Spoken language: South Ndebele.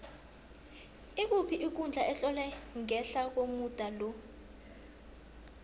ikuphi ikundla etlolwe ngehla komuda lo